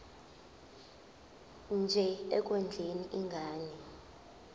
nje ekondleni ingane